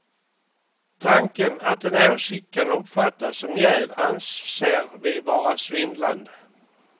Tanken att en åsikt kan uppfattas som jäv anser vi vara svindlande.